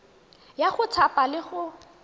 ya go thapa le go